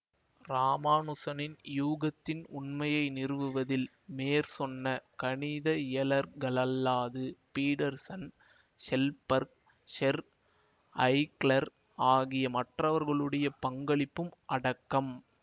இராமானுசனின் யூகத்தின் உண்மையை நிறுவவதில் மேற்சொன்ன கணித இயலர்களல்லாது பீடர்ஸன் ஸெல்பர்க் ஸெர் ஐக்லர் ஆகிய மற்றவர்களுடைய பங்களிப்பும் அடக்கம்